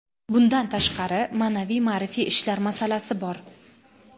Bundan tashqari, ma’naviy-ma’rifiy ishlar masalasi bor.